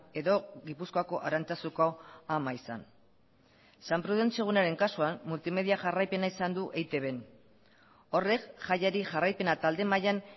edo gipuzkoako arantzazuko ama izan san prudentzio egunaren kasuan multimedia jarraipena izan du eitbn horrek jaiari jarraipena talde mailan